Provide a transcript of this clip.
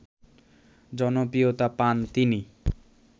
জনপ্রিয়তা পান তিনি